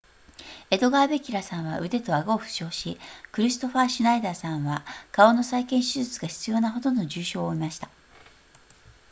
エドガーベギラさんは腕と顎を負傷しクリストファーシュナイダーさんは顔の再建手術が必要なほどの重症を負いました